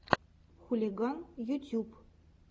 хулиган ютьюб